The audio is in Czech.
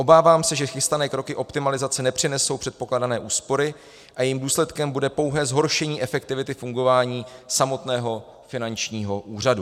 Obávám se, že chystané kroky optimalizace nepřinesou předpokládané úspory a jejich důsledkem bude pouhé zhoršení efektivity fungování samotného finančního úřadu.